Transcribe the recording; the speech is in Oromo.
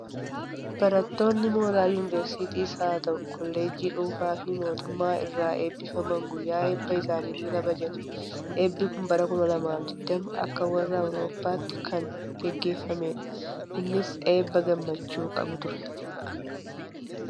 Barattoonni mooraa yuuniversiitiis haa ta'u, koollejjii dhuunfaa fi mootummaa irraa eebbifaman guyyaa eebba isaanii ni kabajatu. Eebbi kun bara 2020 akka warra Awurooppaatti kan gaggeeffamedha. Innis eebba gammachuu qabu ture.